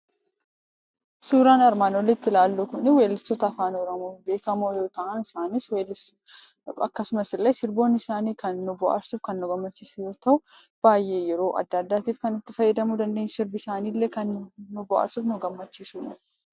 Suuraan armaan olitti ilaallu Kunii, weellistoota Afaan Oromoo beekamoo yoo ta'an, isaanis weellistoota akkasumas illee sirboonni isaanii kan nu bohaarsu, kan nu gammachiisu yoo ta'u, baayyee yeroo addaa addattiif itti fayyadamuu dandeenyu sirbi isaanii illee kan nu bohaarsu, kan nu gammachiisudha.